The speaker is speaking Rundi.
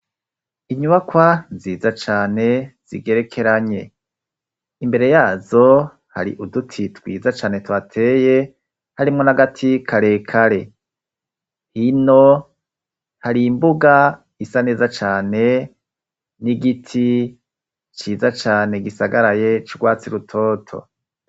Inyubakwa ziza cane zigerekeranye imbere yazo hari uduti twiza cane twateye harimwo nagati karekare hino hari imbuga isa neza cane n'igiti ciza cane gisagaraye cwaa zi rutoto.